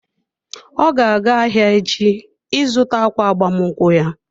Ọ ga-aga ahịa echi ị zụta ákwà agbamakwụkwọ ya.